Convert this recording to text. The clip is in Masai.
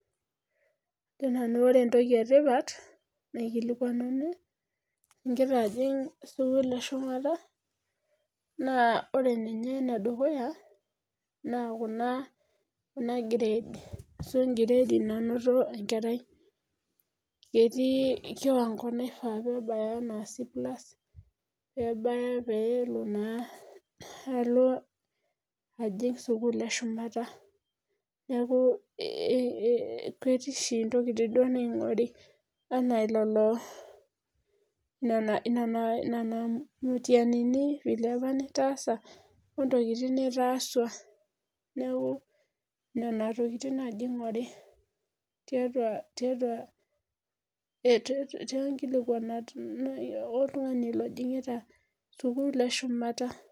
Ajo nanu ore entoki etipat naikilikuanuni igira ajing sukul eshumata naa ore ninye enedukuya naa kuna grade ashu en'grade nainoto enkerai Ketii kiwango naifaa peebaya ena C+ peebaya peelo naa alo ajing sukul eshumata Neeku ketii oshi ntokiting naing'uraari enaa ilolo nena mutianini vile opa nitaasa ontokiting nitaaswa Neeku nena tokiting naaji inguri tiatua onkilikuanat oltungani ojing'ita sukuul eshumata